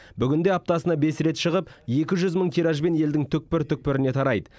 бүгінде аптасына бес рет шығып екі жүз мың тиражбен елдің түкпір түкпіріне тарайды